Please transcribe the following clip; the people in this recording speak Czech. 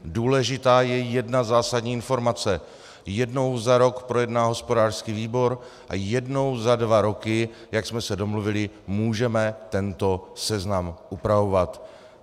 Důležitá je jedna zásadní informace: Jednou za rok projedná hospodářský výbor a jednou za dva roky, jak jsme se domluvili, můžeme tento seznam upravovat.